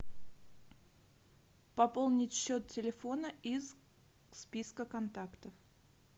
пополнить счет телефона из списка контактов